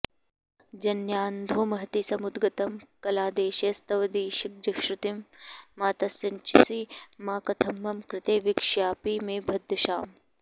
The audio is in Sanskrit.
जन्यान्धोमहतीसमुद्गतकलादेशैस्त्वदीशश्रुतिं मातस्सिञ्चसि मा कथं मम कृते वीक्ष्यापि मे भद्दशाम्